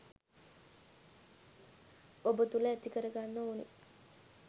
ඔබ තුළ ඇතිකර ගන්න ඕනෙ.